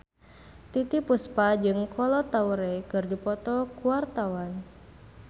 Titiek Puspa jeung Kolo Taure keur dipoto ku wartawan